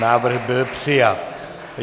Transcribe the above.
Návrh byl přijat.